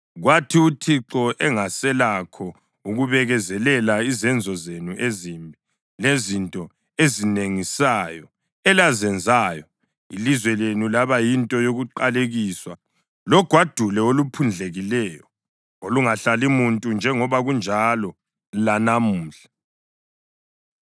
Kwathi uThixo engaselakho ukubekezelela izenzo zenu ezimbi lezinto ezinengisayo elazenzayo, ilizwe lenu laba yinto yokuqalekiswa logwadule oluphundlekileyo olungahlali muntu njengoba kunjalo lanamhla.